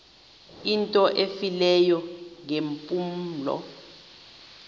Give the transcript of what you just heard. into efileyo ngeempumlo